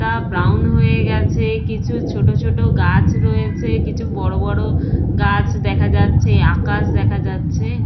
কা ব্রাউন হয়ে গেছে কিছু ছোট ছোট গাছ রয়েছে কিছু বড় বড় গাছ দেখা যাচ্ছে আকাশ দেখা যাচ্ছে।